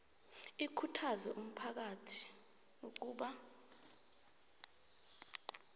ikhuthaze umphakathi ukuba